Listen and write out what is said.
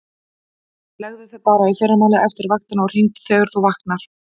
Leggðu þig bara í fyrramálið eftir vaktina og hringdu þegar þú vaknar.